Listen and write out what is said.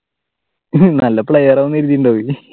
നല്ല player ആണെന്ന് കരീതിയിട്ടുണ്ടാവും